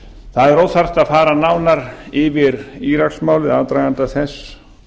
það er óþarft að fara nánar yfir íraksmálið aðdraganda þess